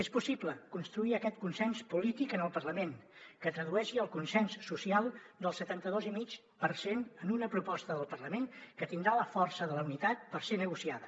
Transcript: és possible construir aquest consens polític al parlament que tradueixi el consens social dels setanta dos i mig per cent en una proposta del parlament que tindrà la força de la unitat per ser negociada